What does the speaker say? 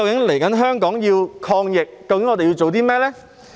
現在香港要抗疫，究竟我們要做甚麼呢？